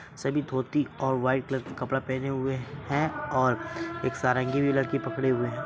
सभी धोती और व्हाइट कलर का कपड़ा पहने हुए है और एक सारंगी भी लड़की पकड़े हुए हैं।